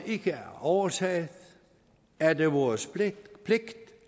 ikke er overtaget er det vores pligt